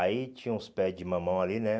Aí tinha uns pés de mamão ali, né?